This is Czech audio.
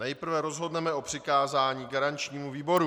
Nejprve rozhodneme o přikázání garančnímu výboru.